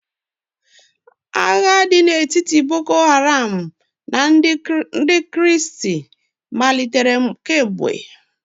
Agha dị n'etiti boko haram na ndị kristi malitere kemgbe.